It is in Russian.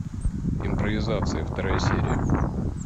импровизация вторая серия